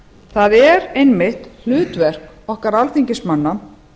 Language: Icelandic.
það er einmitt hlutverk okkar alþingismanna